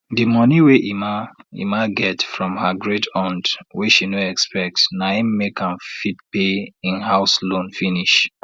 de monie wey emma emma get from her greataunt wey she no expect na im make am fit pay im house loan finish